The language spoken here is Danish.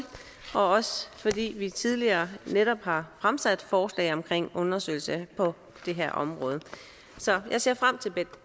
og også fordi vi tidligere netop har fremsat forslag om undersøgelser på det her område så jeg ser frem til